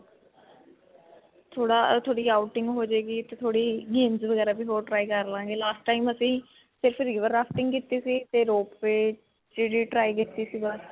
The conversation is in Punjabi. ਥੋੜਾ ਥੋਡੀ outing ਹੋ ਜਾਏਗੀ ਤੇ ਥੋੜੀ games ਵਗੈਰਾ ਵੀ ਹੋਰ try ਕਰ ਲਾਂਗੇ. last time ਅਸੀ ਸਿਰਫ river rafting ਕੀਤੀ ਸੀ ਤੇ rope way ਜਿਹੜੀ try ਕੀਤੀ ਸੀ ਬਸ.